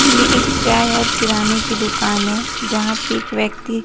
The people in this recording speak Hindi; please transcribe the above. ये एक चाय और किराने की दुकान है जहां पे एक व्यक्ति--